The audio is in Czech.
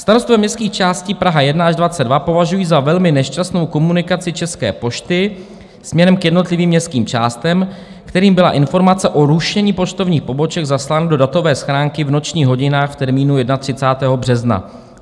Starostové městských částí Praha 1 až 22 považují za velmi nešťastnou komunikaci České pošty směrem k jednotlivým městským částem, kterým byla informace o rušení poštovních poboček zaslána do datové schránky v nočních hodinách v termínu 31. března.